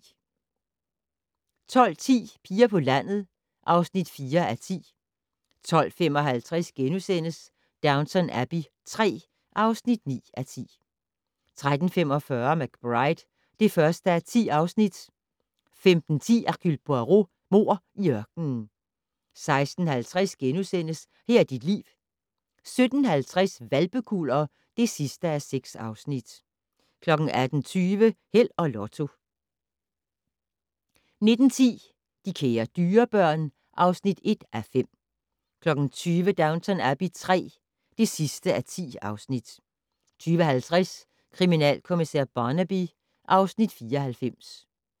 12:10: Piger på landet (4:10) 12:55: Downton Abbey III (9:10)* 13:45: McBride (1:10) 15:10: Hercule Poirot: Mord i ørkenen 16:50: Her er dit liv * 17:50: Hvalpekuller (6:6) 18:20: Held og Lotto 19:10: De kære dyrebørn (1:5) 20:00: Downton Abbey III (10:10) 20:50: Kriminalkommissær Barnaby (Afs. 94)